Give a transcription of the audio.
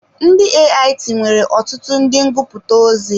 Ndị AIT nwere ọtụtụ ndị ngụputa ozi.